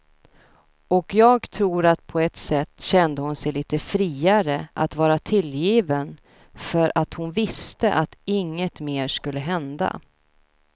Och jag tror att på ett sätt kände hon sig lite friare att vara tillgiven för att hon visste att inget mer skulle hända.